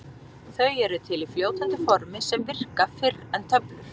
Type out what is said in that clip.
Þau eru til í fljótandi formi sem virka fyrr en töflur.